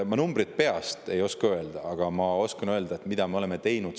Ma numbreid peast ei oska öelda, aga ma oskan öelda, mida me oleme teinud.